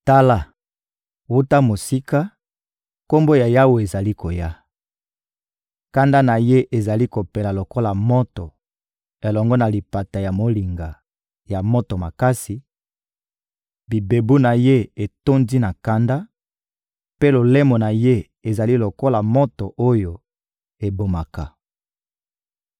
Tala, wuta mosika, Kombo ya Yawe ezali koya; kanda na Ye ezali kopela lokola moto elongo na lipata ya molinga ya moto makasi; bibebu na Ye etondi na kanda, mpe lolemo na Ye ezali lokola moto oyo ebomaka.